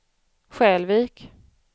Skälvik